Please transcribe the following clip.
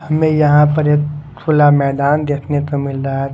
हमें यहां पर एक खुला मैदान देखने को मिल रहा है।